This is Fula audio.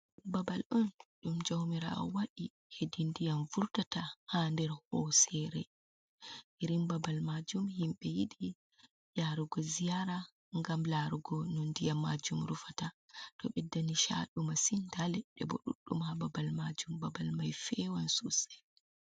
Babal on ɗum jaumirawo wadi hedi ndiyam furtata ha nder hosere, irin babal majum himbe yiɗi yarugo ziyara gam larugo no nɗiyam majum rufata ɗo ɓedda ni chadu massin nɗa leɗɗe bo ɗuɗɗum ha babal majum babal mai fewan sosei.